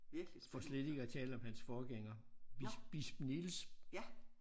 For slet ikke at tale om hans forgænger bisp bisp Niels